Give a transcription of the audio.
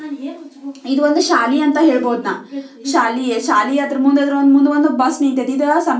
ಇದು ಒಂದು ಶಾಲೆ ಅಂತ ಹೇಳ್ಬಹುದು ನಾ ಶಾಲೆ ಶಾಲೆ ಮುಂದೆ ಒಂದು ಅದರ ಮುಂದೆ ಒಂದ ಬಸ್ ನಿಂತತೆ.